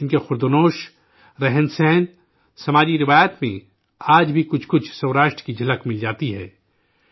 ان کے کھان پان، رہن سہن، سماجی اخلاقیات میں آج بھی کچھ کچھ سوراشٹر کی جھلک مل جاتی ہے